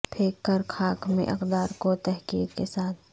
پھینک کر خاک میں اقدار کو تحقیر کے ساتھ